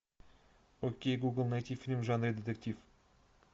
окей гугл найти фильм в жанре детектив